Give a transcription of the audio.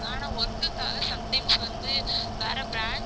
ஆனா work க்காக sometimes வந்து வேற branch க்கு